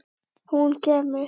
Hún kemur!